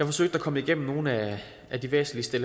forsøgt at komme igennem nogle af de væsentligste